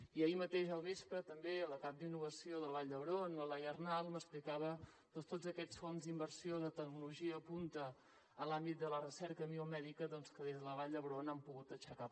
i ahir mateix al vespre també la cap d’innovació de la vall d’hebron la laia arnal m’explicava tots aquests fons d’inversió de tecnologia punta a l’àmbit de la recerca biomèdica que des de la vall d’hebron han pogut aixecar